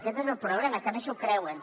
aquest és el problema que a més s’ho creuen